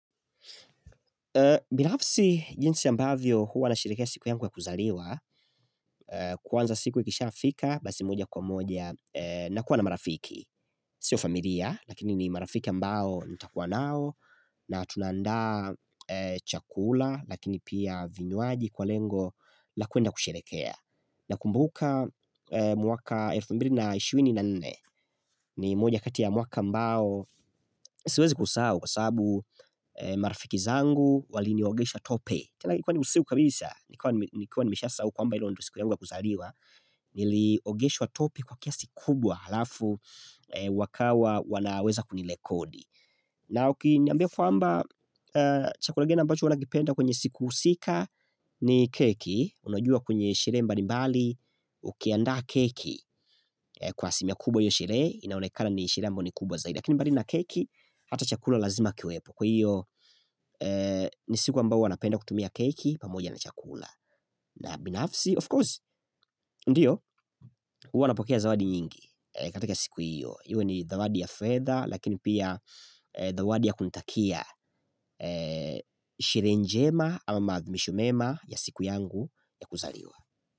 Binafsi jinsi ambavyo huwa nashirehekea siku yangu ya kuzaliwa Kwanza siku ikishafika basi moja kwa moja nakuwa na marafiki Sio familia lakini ni marafiki ambao nitakuwa nao na tunaandaa chakula lakini pia vinywaji kwa lengo la kwenda kushirehekea na kumbuka mwaka elfu mbili na ishirini na nne ni moja kati ya mwaka ambao Siwezi kusahau kwa sababu marafiki zangu waliniogesha tope. Tena ilikua ni usiku kabisa, nikiwa nimeshasahau kwamba hilo ndio siku yangu ya kuzaliwa Nili ogeshwa tope kwa kiasi kubwa halafu wakawa wanaweza kunirekodi na ukiniambia kwamba chakula kingine ambacho huwa nakipenda kwenye siku husika ni keki. Unajua kwenye sherehe mbali mbali ukiaandaa keki kwa aslimia kubwa hiyo sherehe inaonekana ni sherehe ambayo ni kubwa zaidi. Lakini mbali na keki hata chakula lazima kiwepo Kwa hiyo ni siku ambao huwa napenda kutumia keki pamoja na chakula. Na binafsi, of course, ndiyo, huwa napokea zawadi nyingi katika siku hiyo. Iwe ni zawadi ya fedha lakini pia zawadi ya kunitakia sherehe njema ama maadhimisho mema ya siku yangu ya kuzaliwa.